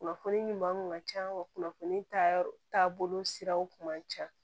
Kunnafoni ɲuman kun ka ca wa kunnafoni ta yɔrɔ taabolo siraw kun man ca